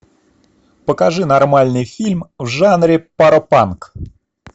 покажи нормальный фильм в жанре паропанк